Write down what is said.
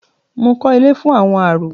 Mo kọ́ ilé fún àwọn arọ.